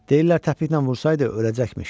Deyirlər təpiklə vursaydı öləcəkmiş.